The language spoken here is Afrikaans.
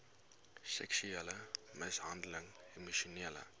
seksuele mishandeling emosionele